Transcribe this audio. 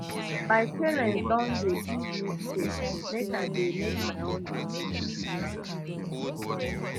my parents don dey give me space make i dey make my own decisions um